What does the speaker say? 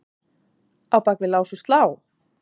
Á bak við lás og slá?